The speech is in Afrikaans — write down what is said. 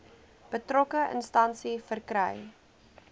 betrokke instansie verkry